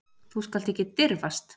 Þú skalt ekki dirfast.